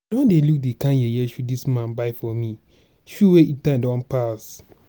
i don dey look di kind yeye shoe dis man buy for me shoe wey ein time don pass.